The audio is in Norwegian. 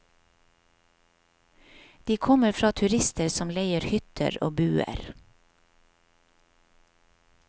De kommer fra turister som leier hytter og buer.